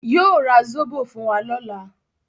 Yóò ra Zóbò fún wa lọ́la.